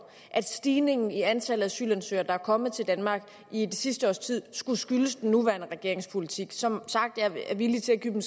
at stigningen i antallet af asylansøgere der er kommet til danmark i det sidste års tid skulle skyldes den nuværende regerings politik som sagt er jeg villig til at give den